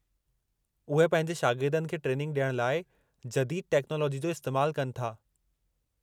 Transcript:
उहे पंहिंजे शागिर्दनि खे ट्रेनिंग ॾियण लाइ जदीद टेक्नालाजी जो इस्तैमालु कनि था।